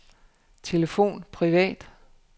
telefon privat